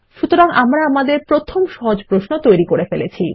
সুতরাং আমরা আমাদের প্রথম সহজ প্রশ্ন তৈরী করে ফেলেছি